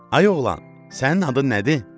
Ay oğlan, sənin adın nədir?